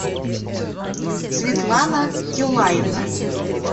светлана юлаевна